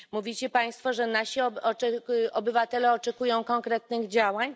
Mówicie Państwo, że nasi obywatele oczekują konkretnych działań.